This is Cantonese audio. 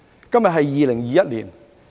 今年是2021年。